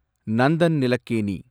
Nandan Nilekani